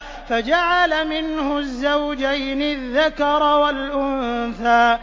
فَجَعَلَ مِنْهُ الزَّوْجَيْنِ الذَّكَرَ وَالْأُنثَىٰ